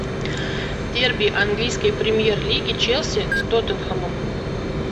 дерби английской премьер лиги челси с тоттенхэмом